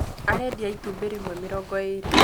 Alendia itumbĩ rĩmwe mĩrongo ĩrĩ